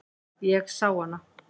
Ég sá hana.